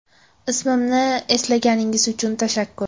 Ismimni eslaganingiz uchun tashakkur.